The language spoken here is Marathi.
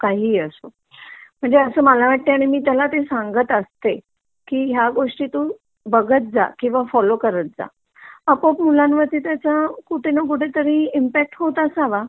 किंवा काहीही असो म्हणजे असा मला वाटतंय आणि मी त्याला सांगत असते की ह्या गोष्टी तू बघत जा किंवा फॉलो करत जा . आपोआप मुलांवर त्याचा कुठे ना कुठेतरी त्याचा ईमपॅक्ट होत असावा